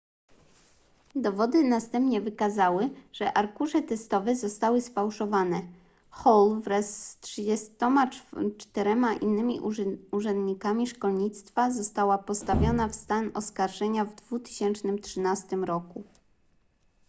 dowody następnie wykazały że arkusze testowe zostały sfałszowane hall wraz z 34 innymi urzędnikami szkolnictwa została postawiona w stan oskarżenia w 2013 roku